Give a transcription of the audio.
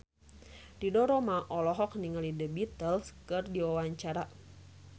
Ridho Roma olohok ningali The Beatles keur diwawancara